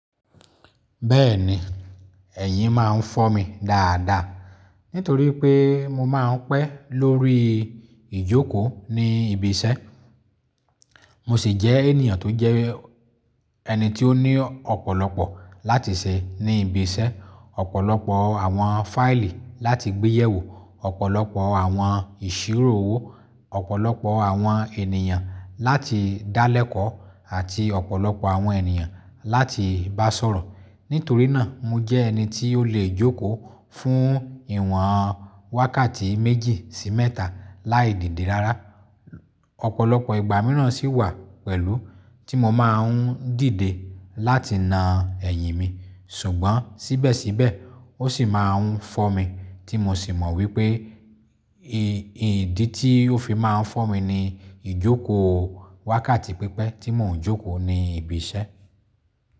Bẹ́ẹ̀ni ẹ̀yìn máa ń fọ́ mi dáada nítorí pé mo máa ń pẹ́ lórí ìjókò ní ibi iṣẹ́. Mo sì jẹ́ ènìyàn tó jẹ́ ẹni tí ó ní ọ̀pọ̀lọpọ̀ láti ṣe ní ibi iṣẹ́, ọ̀pọ̀lọpọ̀ àwọn fáìlì láti gbé yẹ̀ wò, ọ̀pọ̀lọpọ̀ àwọn ìṣirò owó, ọ̀pọ̀lọpọ̀ àwọn ènìyàn láti dá lẹ́kọ̀ọ́ àti ọ̀pọ̀lọpọ̀ àwọn ènìyàn láti bá sọ̀rọ̀. Nítorí náà, mo jẹ́ ẹni tí ó lè jókòó fún ìwọ̀n wákàtí méjì sí mẹ́ta láì dìde rárá. Ọ̀pọ̀lọpọ̀ ìgbà mìíràn sì wà pẹ̀lú tí mo máa ń dìde láti na ẹ̀yìn mi. Ṣùgbọ́n síbẹ̀síbẹ̀ ó sì máa ń fọ́ mi tí mo sì mọ̀ wípé ìdí tí ó fi máa ń fọ́ mi ni ìjókòó wákàtí pípẹ́ tí mò ń jókòó ní ibi iṣẹ́.